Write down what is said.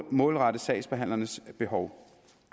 målrettet sagsbehandlernes behov